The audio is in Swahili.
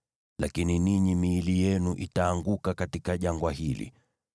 Lakini ninyi, miili yenu itaanguka katika jangwa hili.